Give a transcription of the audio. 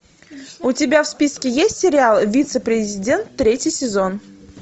у тебя в списке есть сериал вице президент третий сезон